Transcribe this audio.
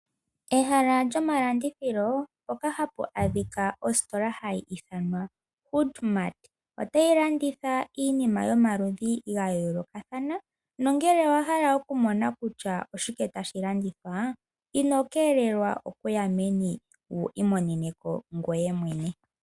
Ehala lyomalandithilo mpoka hapu adhika mpoka hapu adhika ositola hayi ithanwa HoodMart otayi landitha iinima yomaludhi ga yoolokathana nongele owahala okumona kutya oshike tashi landitwa ino keelelwa okuya meni wu imoneneko ngweye mwene.